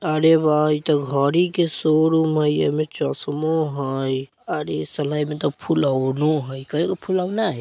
अरे वाह इतः घरी के शोरूम हई एमो चसमो हई अरी साला एमत : फुलनाओ हई । कई गो फुलाओना हई ?